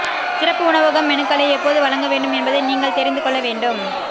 சிறப்பு உணவகம் மெனுக்களை எப்போது வழங்க வேண்டும் என்பதை நீங்கள் தெரிந்து கொள்ள வேண்டும்